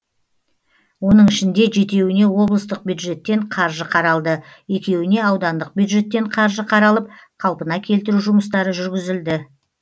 оның ішінде жетеуіне облыстық бюджеттен қаржы қаралды екеуіне аудандық бюджеттен қаржы қаралып қалпына келтіру жұмыстары жүргізілді